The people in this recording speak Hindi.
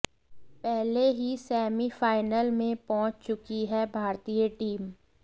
पहले ही सेमीफाइनल में पहुंच चुकी है भारतीय टीम